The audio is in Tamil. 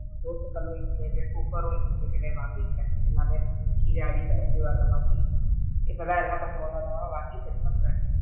தோசை கல்லு ஒன்னு insulated குக்கர்ரும் insulated டே வாங்கிட்டேன், எல்லாமே கீழ அடில இது வர மாதிரி இப்பதான் எல்லாமே கொஞ்ச கொஞ்சமா வாங்கி set பண்றேன்.